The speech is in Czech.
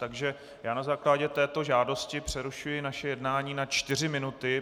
Takže já na základě této žádosti přerušuji naše jednání na čtyři minuty.